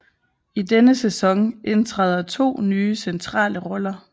I denne sæson indtræder to nye centrale roller